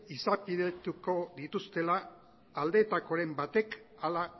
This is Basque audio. izapidetuko dituztela aldetakoren batek hala